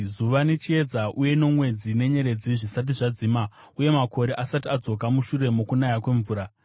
zuva nechiedza uye nomwedzi nenyeredzi zvisati zvadzima, uye makore asati adzoka mushure mokunaya kwemvura;